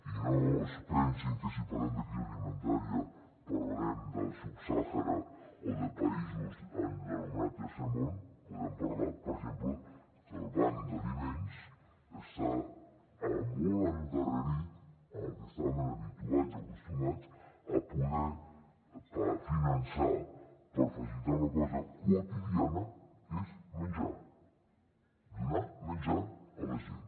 i no es pensin que si parlem de crisi alimentària parlarem del sub sàhara o de països en l’anomenat tercer món podem parlar per exemple que el banc d’aliments està molt endarrerit en el que estaven habituats i acostumats a poder finançar per facilitar una cosa quotidiana que és menjar donar menjar a la gent